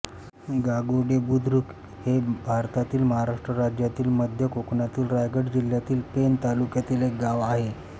गागोडे बुद्रुक हे भारतातील महाराष्ट्र राज्यातील मध्य कोकणातील रायगड जिल्ह्यातील पेण तालुक्यातील एक गाव आहे